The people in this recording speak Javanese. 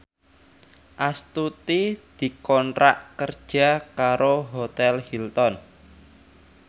Astuti dikontrak kerja karo Hotel Hilton